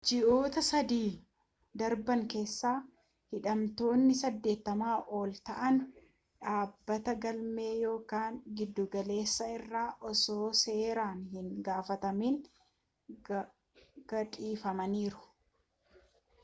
ji'oota 3 darban keessa hidhamtootni 80 ol ta'an dhaabbata galmee yakkaa giddugaleessaa irraa osoo seeraan hin gaafatamin gadhifamaniiru